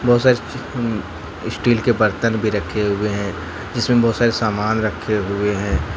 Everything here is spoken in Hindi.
बहुत सारी स्टील के बर्तन भी रखे हुए हैं जिसमें बहुत सारे सामान रखे हुए हैं।